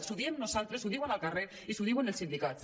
li ho diem nosaltres li ho diuen al car·rer i li ho diuen els sindicats